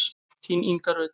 Þín Inga Rut.